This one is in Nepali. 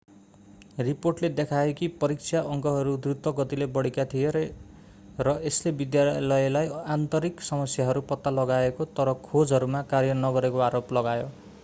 रिपोर्टले देखायो कि परीक्षा अङ्कहरू द्रुत गतिले बढेका थिए र यसले विद्यालयले आन्तरिक समस्याहरू पत्ता लगाएको तर खोजहरूमा कार्य नगरेको आरोप लगायो